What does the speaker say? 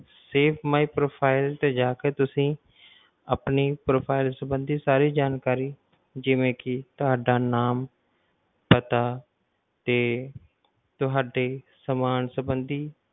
Save my profile ਤੇ ਜਾਕੇ ਤੁਸੀਂ ਆਪਣੀ profile ਸੰਬੰਧੀ ਸਾਰੀ ਜਾਣਕਾਰੀ ਜਿਵੇਂ ਕਿ ਤੁਹਾਡਾ ਨਾਮ ਪਤਾ ਤੇ ਤੁਹਾਡੇ ਸਮਾਨ ਸੰਬੰਧੀ